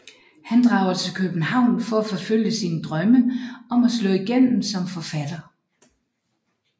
Han drager til København for at forfølge sine drømme om at slå igennem som forfatter